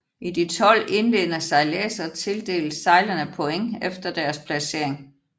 I de 12 indledende sejladser tildeles sejlerne points efter deres placering